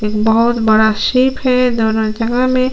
एक बहोत बड़ा शीप है दोनों जगह में--